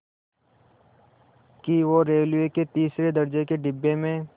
कि वो रेलवे के तीसरे दर्ज़े के डिब्बे में